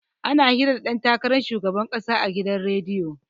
Ana hira da ɗan takaran shugaban ƙasa a gidan rediyo.